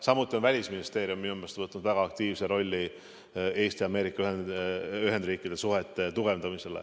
Samuti on Välisministeerium minu meelest võtnud väga aktiivse rolli Eesti ja Ameerika Ühendriikide suhete tugevdamisel.